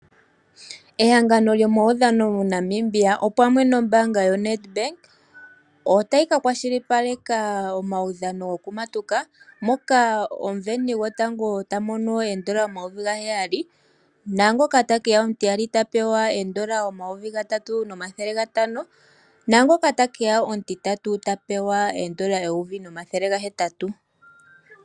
Ehangano lyomaudhano mo Namibia opamwe nombanga yo Ned Bank otayi ka kwashilipaleka omaudhano gokumatuka moka omusindani gotango tamono oondola omayovi ga heyali, naangoka ta keya omutiyali tapewa oondola omayovi gatatu nomathele gatano, naango ta keya omutitatu ta pewa oondola eyovi nomathele ga hetatu.